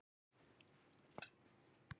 Valur bikarmeistari karla